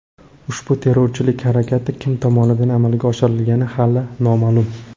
Ushbu terrorchilik harakati kim tomonidan amalga oshirilgani hali noma’lum.